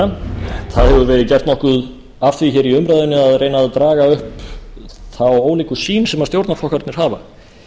það hefur verið gert nokkuð af því hér í umræðunni að reyna að draga upp þá ólíku sýn sem stjórnarflokkarnir hafa